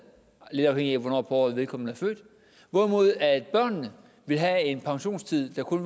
lidt afhængigt af hvornår på året vedkommende er født hvorimod børnene vil have en pensionstid på kun